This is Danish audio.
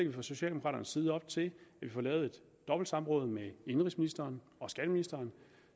vi fra socialdemokraternes side op til at vi får lavet et dobbeltsamråd med indenrigsministeren og skatteministeren